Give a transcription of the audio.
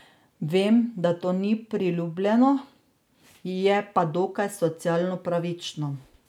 Vem, da to ni priljubljeno, je pa dokaj socialno pravično.